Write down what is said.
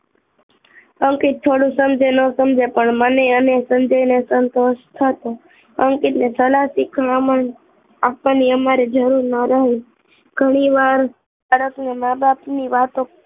અંકિત થોડું સમજે કે ન સમજે પણ મને અને સંજય ને સંતોષ થતો અંકિત ને સલાહ શીખવવામાં અમારે જરૂર ન રહી ઘણીવાર મા બાપની વાતો